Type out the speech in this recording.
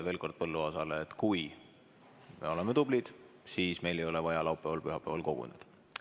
Veel kord Põlluaasale: kui me oleme tublid, siis meil ei ole vaja laupäeval-pühapäeval koguneda.